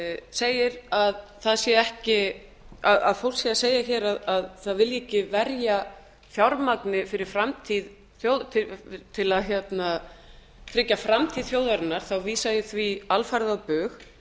segir að fólk sé að segja hér að það vilji ekki verja fjármagni til að tryggja framtíð þjóðarinnar vísa ég því alfarið á bug